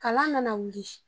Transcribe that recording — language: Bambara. Kalan nana wuli